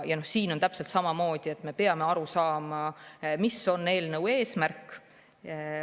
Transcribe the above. Ja siin on täpselt samamoodi: me peame aru saama, mis on eelnõu eesmärk.